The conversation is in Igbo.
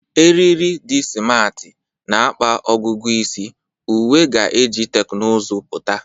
Eriri di simarti na-akpa ọgụgụ isi, uwe ga-eji teknụzụ pụta.